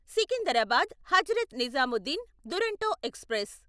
Secunderabad Hazrat Nizamuddin Duronto express